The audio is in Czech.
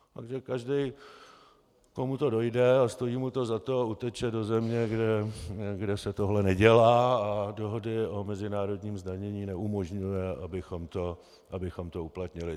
Takže každý, komu to dojde a stojí mu to za to, uteče do země, kde se tohle nedělá a dohody o mezinárodním zdanění neumožňují, abychom to uplatnili.